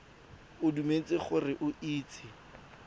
o dumetse gore o itse